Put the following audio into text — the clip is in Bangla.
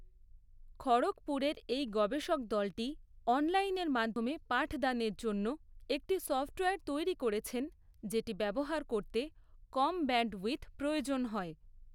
খড়গপুরের এই গবেষক দলটি অনলাইনের মাধ্যমে পাঠদানের জন্য একটি সফ্টওয়্যার তৈরি করেছেন যেটি ব্যবহার করতে কম ব্যান্ডউইথ প্রয়োজন হয়।